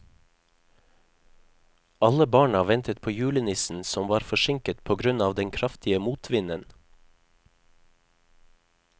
Alle barna ventet på julenissen, som var forsinket på grunn av den kraftige motvinden.